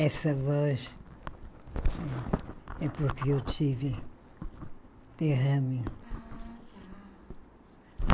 Essa voz é porque eu tive derrame. Ah tá